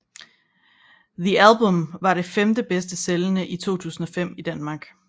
The Album var det femtende bedst sælgende i 2005 i Danmark